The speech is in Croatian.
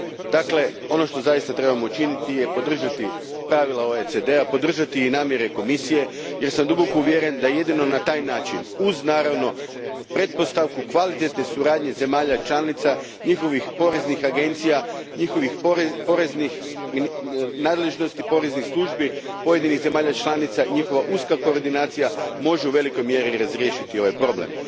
Dakle, ono što zaista trebamo učiniti je podržati pravila OECD a, podržati i namjere Komisije jer sam duboko uvjeren da jedino na taj način, uz naravno pretpostavku kvalitetne suradnje zemalja članica, njihovih poreznih agencija, njihovih poreznih nadležnosti, poreznih službi pojedinih zemalja članica, njihova uska koordinacija može u velikoj mjeri razriješiti ovaj problem.